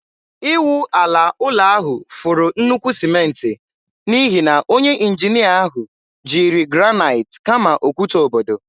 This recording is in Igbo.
Ịwụ ala ụlọ ahụ furu nnukwu sịmentị n'ihi na onye injinia ahụ jiri granaịt kama okwute obodo.